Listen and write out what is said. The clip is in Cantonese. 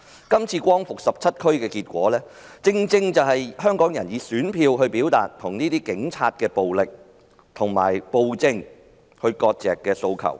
今次光復17區的選舉結果，正正是香港人想以選票表達與警察暴力和暴政割席的訴求。